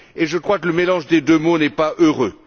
je crois que le mélange des deux mots n'est pas heureux.